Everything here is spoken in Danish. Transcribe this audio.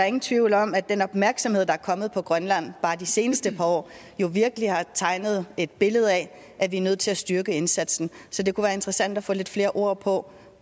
ingen tvivl om at den opmærksomhed der er kommet på grønland bare de seneste par år jo virkelig har tegnet et billede af at vi er nødt til at styrke indsatsen så det kunne være interessant at få lidt flere ord på